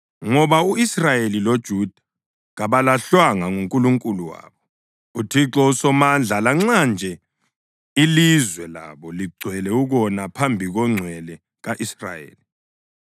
Ngoba u-Israyeli loJuda kabalahlwanga nguNkulunkulu wabo, uThixo uSomandla, lanxa nje ilizwe labo ligcwele ukona phambi koNgcwele ka-Israyeli.